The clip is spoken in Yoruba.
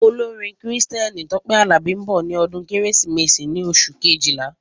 Olórin Kristẹni Tope Alabi nbọ sí ọdún kérésìmesì ní oṣù Kejìlá